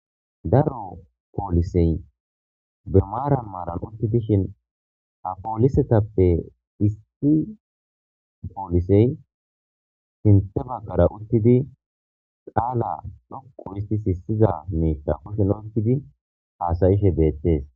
Daro poolisey birmaaran maaran uttidishin apoolisetappe isti poolisey hinte baggara uttidi qaala dhoqu isti sissiza metta kushin ottidi haasayishe beettes.